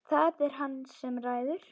Það er hann sem ræður.